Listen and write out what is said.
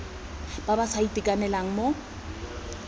ba ba sa itekanelang mo